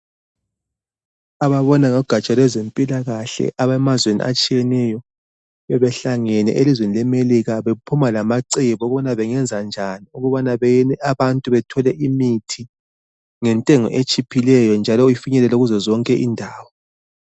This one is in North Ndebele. Ababona ngogaja lwezempilakahle, abemazweni atshiyeneyo, bebehlangene elizweni leMelika. Bephuma lamacebo ukuthi bangenza njani ukuthi abantu bathole imithi, ngentengo etshiphileyo, njalo ifinyelele kuzo zonke indawo.